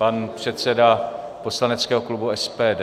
Pan předseda poslaneckého klubu SPD.